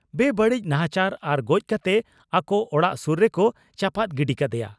ᱵᱮᱵᱟᱹᱲᱤᱡ ᱱᱟᱦᱟᱪᱟᱨ ᱟᱨ ᱜᱚᱡᱽ ᱠᱟᱛᱮ ᱟᱠᱚ ᱚᱲᱟᱜ ᱥᱩᱨ ᱨᱮᱠᱚ ᱪᱟᱯᱟᱫ ᱜᱤᱰᱤ ᱠᱟᱫᱮᱭᱟ ᱾